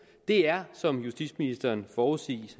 det er som justitsministeren forudsagde